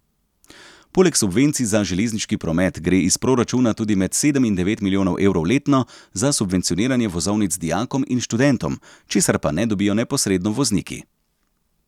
Poleg subvencij za železniški promet gre iz proračuna tudi med sedem in devet milijonov evrov letno za subvencioniranje vozovnic dijakom in študentom, česar pa ne dobijo neposredno vozniki.